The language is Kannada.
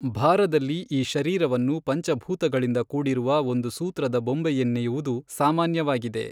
ಭಾರದಲ್ಲಿ ಈ ಶರೀರವನ್ನು ಪಂಚಭೂತಗಳಿಂದ ಕೂಡಿರುವ ಒಂದು ಸೂತ್ರದ ಬೊಂಬೆಯನ್ನೆಯುವುದು ಸಾಮಾನ್ಯವಾಗಿದೆ.